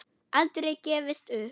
Aldrei gefist upp.